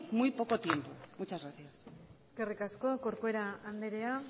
muy poco tiempo muchas gracias eskerrik asko corcuera andrea